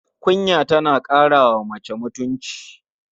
Kunya tana ƙara wa mace mutunci.